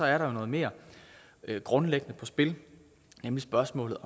er der jo noget mere grundlæggende på spil nemlig spørgsmålet